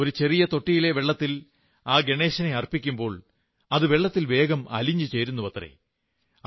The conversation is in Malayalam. ഒരു ചെറിയ തൊട്ടിയിലെ വെള്ളത്തിൽ ആ ഗണേശനെ അർപ്പിക്കുമ്പോൾ അത് വെള്ളത്തിൽ വേഗം അലിഞ്ഞു ചേരുന്നുവത്രേ